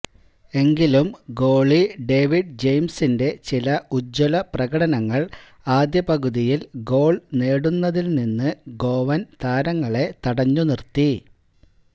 എങ്കിലും goalie David ജെയിംസിന്റെ ചില ഉജ്ജ്വല പ്രകടനങ്ങള് ആദ്യപകുതിയില് ഗോള് നേടുന്നതില് നിന്ന് ഗോവന് താരങ്ങളെ തടഞ്ഞുനിര്ത്തി